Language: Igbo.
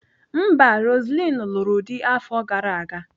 Mba, Roseline lụrụ di afọ gara aga.